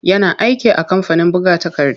Yana aiki a kamfanin buga takarda.